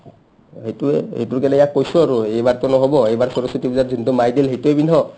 অ, এইটোৱে এইটো কেনেকা কৈছো আৰু এইবাৰটো নহ'ব এইবাৰ সৰস্ব্তী পূজাত যিনটো মাই দিল সেইটোয়ে পিন্ধো